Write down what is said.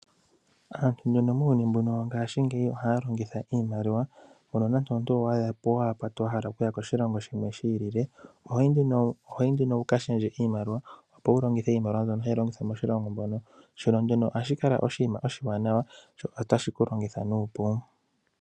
Aantu oyendji muuyuni mbuno wongaashingeyi ohaya longitha iimaliwa, mbyono nande omuntu owa hala okuya koshilongo shimwe shi ilile, ohoyi nduno wu ka shendje iimaliwa opo wu longithe iimaliwa mbyono hayi longithwa moshilongo mono. Shono nduno ohashi kala oshinima oshiwanawa shoka tashi ku longitha nuupu.